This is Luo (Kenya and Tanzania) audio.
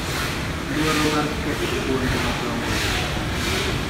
Luoro mar ketho puonj madongogi.